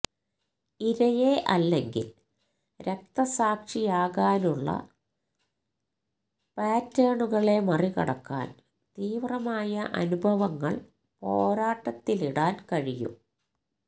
ഇരയെ അല്ലെങ്കിൽ രക്തസാക്ഷിയാകാനുള്ള പാറ്റേണുകളെ മറികടക്കാൻ തീവ്രമായ അനുഭവങ്ങൾ പോരാട്ടത്തിലിടാൻ കഴിയും